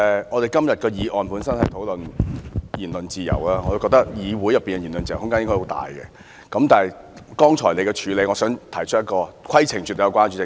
我們今天的議案本身是討論言論自由，我覺得議會內的言論自由空間應該很大，但就你剛才的處理手法，我想提出一項規程問題。